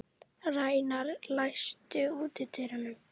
Reynar, læstu útidyrunum.